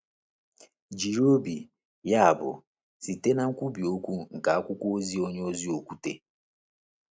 Jiri obi, yabụ, site na nkwubi okwu nke akwụkwọ ozi onyeozi Okwute: